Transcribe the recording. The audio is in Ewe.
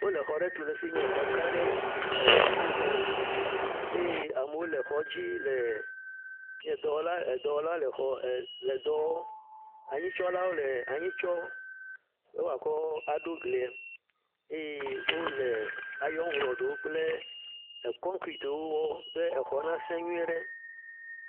Wole xɔ aɖe tu ɖe efi yi nye xɔ gã aɖe eee…, dziƒoxɔ eye amewo le xɔ dzi le eee., nye dɔwɔla edɔwɔla le xɔ eee… lɔ dɔ wɔɔ. Anyitsɔlawo le anyi tsɔ be woakɔ aɖo glie eye wole ayoŋrɔdiwo kple kɔnkretiwo wɔ be exɔ nasẽ nyui ɖe.